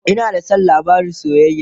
Ina da San labarin soyayya